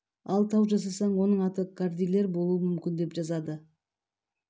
ал тау жасасаң оның аты кордильер болуы мүмкін деп жазады